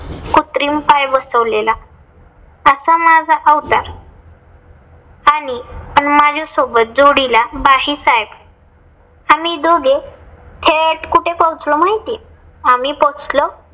कृत्रिम पाय बसवलेला. असा माझा अवतार आणि पण माझ्यासोबत जोडीला भाईसाहेब, आम्ही दोघे थेट कुठे पोहोचलो माहितय? आम्ही पोहोचलो